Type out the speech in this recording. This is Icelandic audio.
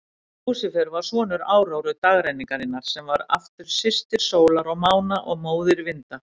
Lúsífer var sonur Áróru, dagrenningarinnar, sem var aftur systir sólar og mána og móðir vinda.